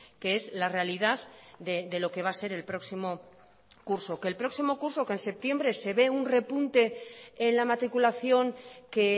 que es la realidad de lo que va a ser el próximo curso que el próximo curso que en septiembre se ve un repunte en la matriculación que